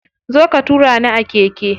Zo ka tura ni a keke.